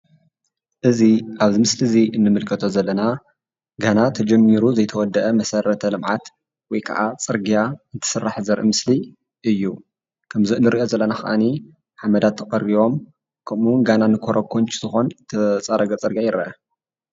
እዚይ ኣብዚ ምስሊ እዚ እንምልከቶ ዘለና ገና ተጀሚሩ ዘይተወደአ መሰረተ ልምዓት ወይ ከዓ ፅርግያ እንትስራሕ ዘርኢ ምስሊ እዩ። ከም እንርእዮ ዘለና ኸዓኒ ሓመዳት ተቀሪቦም ከምኡ እውን ገና ንከሮኮቺ ዝኾውን ተፀረገ ፅርግያ ይርአ።